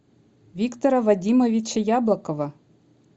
виктора вадимовича яблокова